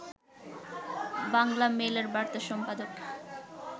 বাংলামেইলের বার্তা সম্পাদক